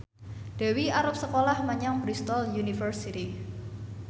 Dewi arep sekolah menyang Bristol university